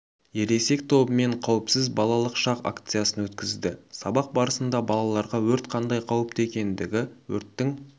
ересек тобымен қауіпсіз балалық шақ акциясын өткізді сабақ барысында балаларға өрт қандай қауіпті екендігі өрттің